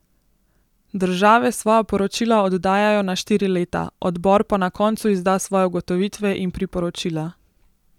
Države svoja poročila oddajajo na štiri leta, odbor pa na koncu izda svoje ugotovitve in priporočila.